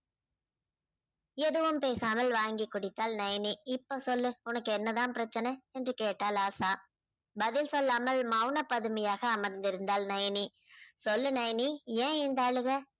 எதுவும் பேசாமல் வாங்கி குடித்தாள் நயனி இப்போ சொல்லு உனக்கு என்ன தான் பிரச்சனை என்று கேட்டாள் ஆசா. பதில் சொல்லாமல் மௌன பதமியாக அமர்ந்திருந்தாள் நயனி. சொல்லு நயனி ஏன் இந்த அழுகை?